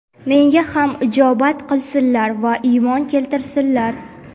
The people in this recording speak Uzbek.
Menga ham ijobat qilsinlar va iymon keltirsinlar.